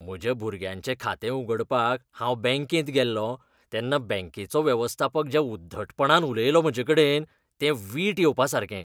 म्हज्या भुरग्याचें खातें उगडपाक हांव बॅंकेत गेल्लों तेन्ना बॅंकेचो वेवस्थापक ज्या उद्धटपणान उलयलो म्हजेकडेन तें वीट येवपासारकें